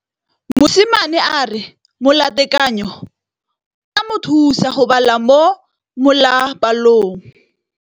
Mosimane a re molatekanyô o tla mo thusa go bala mo molapalong.